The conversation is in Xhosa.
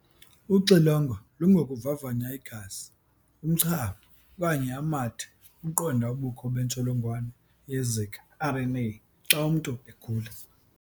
Uxilongo lungokuvavanya igazi, umchamo, okanye amathe ukuqonda ubukho bentsholongwane ye-Zika RNA xa umntu egula.